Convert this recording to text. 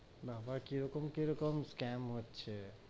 বাবা কিরকম-কিরকম scam হচ্ছে,